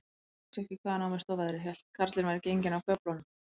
Ég vissi ekki, hvaðan á mig stóð veðrið, hélt að karlinn væri genginn af göflunum.